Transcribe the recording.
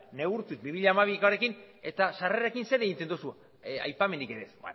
neurtu bi mila hamabikoarekin eta sarrerekin zer egiten duzu aipamenik ere ez